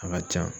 A ka ca